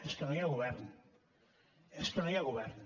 és que no hi ha govern és que no hi ha govern